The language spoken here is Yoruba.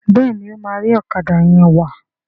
Béèni o ma ri Ọ̀kadà yén wá.